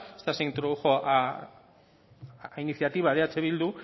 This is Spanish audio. esto se introdujo a iniciativa de eh bildu